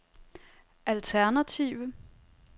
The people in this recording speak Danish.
alternative